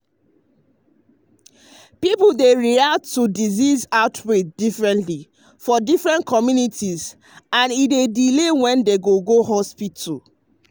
people dey react to disease outbreak differently for different communities and e dey delay when dem go go hospital.